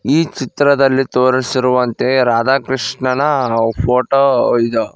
ಈ ಚಿತ್ರದಲ್ಲಿ ತೋರಿಸಿರುವಂತೆ ರಾಧಾಕೃಷ್ಣನ ಫೋಟೋ ಇದು.